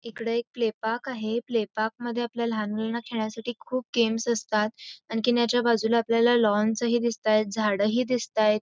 इकडे एक play park आहे प्ले पार्क मध्ये लहान मुलांना खेळण्यासाठी खूप गेम्स असतात आणखीन ह्याच्या बाजूला लॉन्स हि दिसतायत झाड हि दिसतायत.